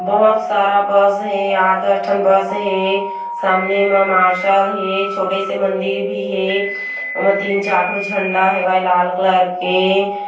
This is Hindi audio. बहोत सारा बस हे आठ दस ठन बस हे सामने म मार्सेल हे छोटे से मंदिर भी हे ओमा तीन चार ठो झंडा हे लाल कलर के --